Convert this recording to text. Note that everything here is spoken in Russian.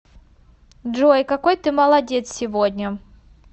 джой какой ты молодец сегодня